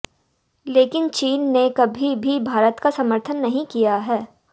लेकिन चीन ने कभी भी भारत का समर्थन नहीं किया है